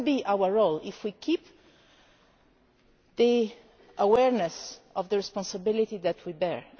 This can be our role if we keep the awareness of the responsibility that we bear.